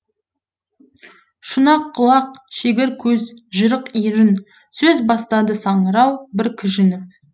шұнақ құлақ шегір көз жырық ерін сөз бастады саңырау бір кіжініп